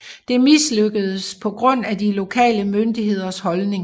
Det mislykkedes på grund af de lokale myndigheders holdning